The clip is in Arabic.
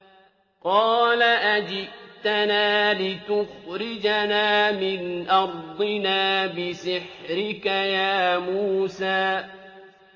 قَالَ أَجِئْتَنَا لِتُخْرِجَنَا مِنْ أَرْضِنَا بِسِحْرِكَ يَا مُوسَىٰ